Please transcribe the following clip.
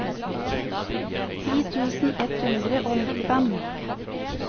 ti tusen ett hundre og nittifem